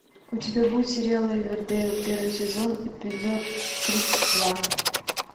у тебя будет сериал ривердейл первый сезон эпизод тридцать два